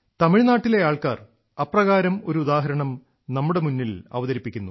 തമിഴ്നാട്ടിലെ ആൾക്കാർ അപ്രകാരം ഒരു ഉദാഹരണം നമ്മുടെ മുന്നിൽ അവതരിപ്പിക്കുന്നു